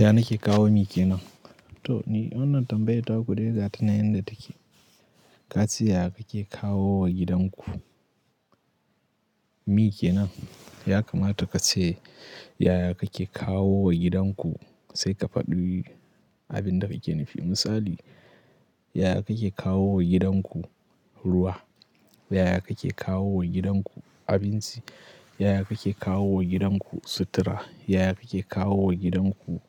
Ya nake kawo mi kenan? To ni wannan tambayar ta ku de gata na yanda take. Ka ce yaya kake kawo wa gidanku mi kenan? Ya kamata ka ce yaya kake kawo wa gidanku sai ka faɗi abin da yake. Misali, yaya kake kawo wa gidanku ruwa? Yaya kake kawo wa gidanku abinci? Yaya kake kawo wa gidanku sutura? Yaya kake kawo wa gidanku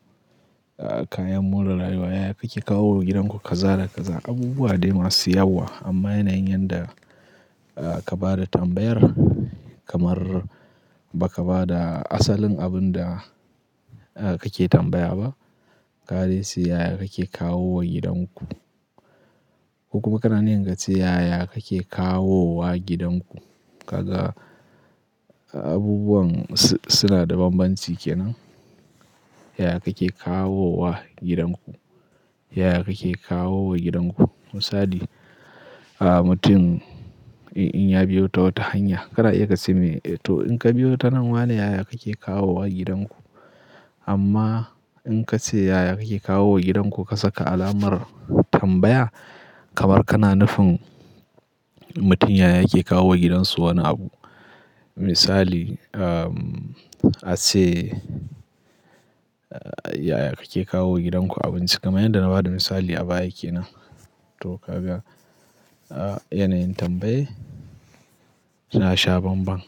kayan more rayuwa? Yaya kake kawo wa gidanku kaza da kaza? Abubuwa dai masu yawa amma yana yin yanda ka ba da tambayar kamar ba ka ba da asalin abin da kake tambaya ba. Kare sai yaya kake kawo wa gidanku. Ko kuma kana yin ga ce yaya kake kawo wa gidanku. Kaga abubuwan suna da bambanci kenan. Yaya kake kawo wa gidanku? Yaya kake kawo wa gidanku? Misali, mutum in ya biyo ta wata hanya, kada ya ka ce me, to in ka biyo ta nan wa ne yaya kake kawo wa gidanku? Amma in ka ce yaya kake kawo wa gidanku ka saka alamar tambaya kamar kana nufin mutum yaya yake kawo wa gidansu wani abu. Misali, a ce yaya kake kawo wa gidanku abinci? Kamar yanda na ba da misali a baya kenan. To kaga yanayin tambayi na sha banban.